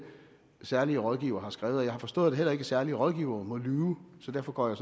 særlige rådgiver har skrevet jeg har forstået at heller ikke særlige rådgivere må lyve så derfor går jeg